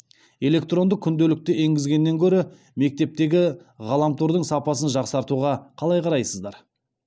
электронды күнделікті енгізгеннен гөрі мектептегі ғаламтордың сапасын жақсартуға қалай қарайсыздар